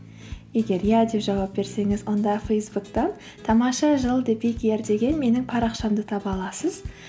егер иә деп жауап берсеңіз онда фейсбуктан тамаша жыл деген менің парақшамды таба аласыз